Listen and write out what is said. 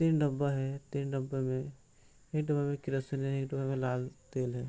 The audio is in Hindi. तीन डब्बा है तीन डब्बे में एक डब्बा में किरासन एक डब्बा में लाल तेल है।